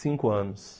Cinco anos.